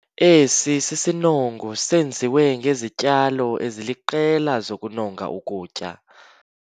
Esi sinongo senziwe ngezityalo eziliqela zokunonga ukutya.